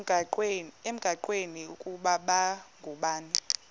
engqanweni ukuba babhungani